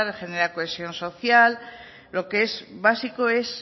genera cohesión social lo que es básico es